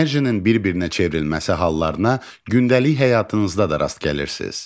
Enerjinin bir-birinə çevrilməsi hallarına gündəlik həyatınızda da rast gəlirsiz.